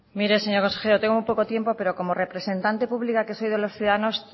mire señor consejero tengo poco tiempo pero como representante pública que soy de los ciudadanos